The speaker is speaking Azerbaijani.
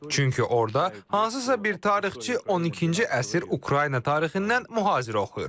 Çünki orda hansısa bir tarixçi 12-ci əsr Ukrayna tarixindən mühazirə oxuyur.